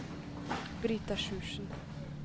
Brita Sjursen